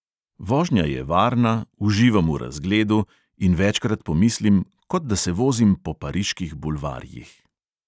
Vožnja je varna, uživam v razgledu in večkrat pomislim, kot da se vozim po pariških bulvarjih.